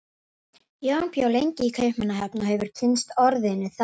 Jón bjó lengi í Kaupmannahöfn og hefur kynnst orðinu þar.